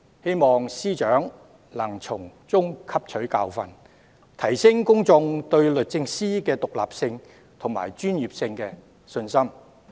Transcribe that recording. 希望司長能從中汲取教訓，提升公眾對律政司的獨立性及專業性的信心。